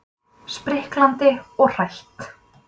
Spriklandi og hrætt.